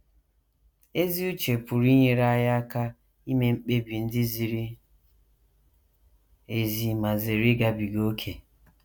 Ezi uche pụrụ inyere anyị aka ime mkpebi ndị ziri ezi ma zere ịgabiga ókè.